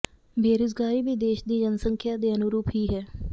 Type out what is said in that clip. ਬੇਰੁਜ਼ਗਾਰੀ ਵੀ ਦੇਸ਼ ਦੀ ਜਨਸੰਖਿਆ ਦੇ ਅਨੁਰੂਪ ਹੀ ਹੈ